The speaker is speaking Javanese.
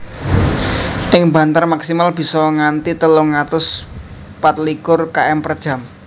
Ing banter maksimal bisa nganthi telung atus pat likur km per jam